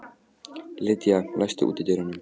Lydia, læstu útidyrunum.